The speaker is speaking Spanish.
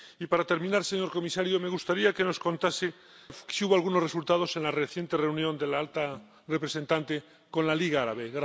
Y, para terminar, señor comisario, me gustaría que nos contase si hubo algunos resultados en la reciente reunión de la alta representante con la Liga Árabe.